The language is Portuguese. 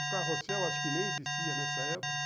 O carrossel acho que nem existia nessa época, uhum.